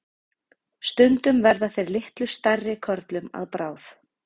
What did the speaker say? Stundum verða þeir litlu stærri körlum að bráð.